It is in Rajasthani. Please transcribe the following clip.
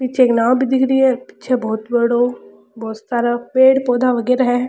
पीछे एक नाव भी दिख री है पीछे बहोत बड़ो बहोत सारा पेड़ पौधा वगेरा है।